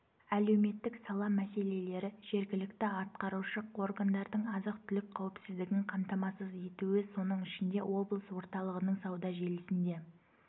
әлеуметтік сала мәселелері жергілікті атқарушы органдардың азық-түлік қауіпсіздігін қамтамасыз етуі соның ішінде облыс орталығының сауда желісінде